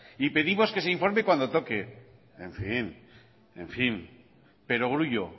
y pedimos que se informe cuando toque en fin perogrullo